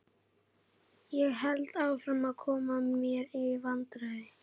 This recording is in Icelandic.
Ég hélt áfram að koma mér í vandræði.